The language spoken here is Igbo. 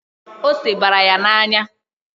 Ose bara ya n'anya.